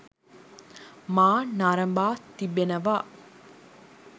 මා නරඹා තිබෙනවා.